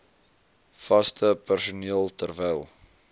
vaste personeel terwyl